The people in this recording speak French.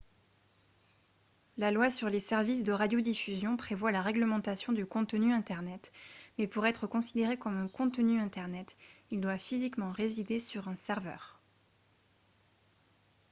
la loi sur les services de radiodiffusion prévoit la réglementation du contenu internet mais pour être considéré comme un contenu internet il doit physiquement résider sur un serveur